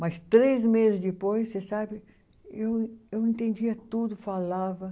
Mas três meses depois, você sabe, eu eu entendia tudo, falava.